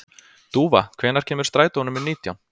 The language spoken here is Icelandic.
Dúfa, hvenær kemur strætó númer nítján?